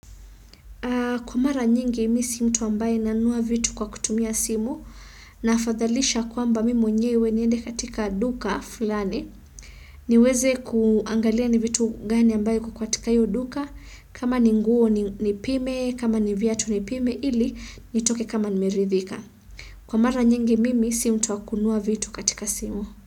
Kwa mara nyingi mi si mtu ambaye nanunua vitu kwa kutumia simu, na fathalisha kwamba mi mwenyewe niende katika duka fulani. Niweze kuangalia ni vitu gani ambaye iko katika iyo duka kama ni nguo ni pime kama ni viatu ni pime ili nitoke kama nimeridhika. Kwa mara nyingi mimi si mtu wakunua vitu katika simu.